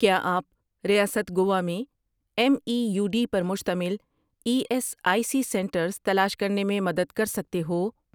کیا آپ ریاست گوا میں ایم ای یو ڈی پر مشتمل E S I C centres تلاش کرنے میں مدد کر سکتے ہو؟